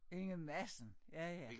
Inge Madsen ja ja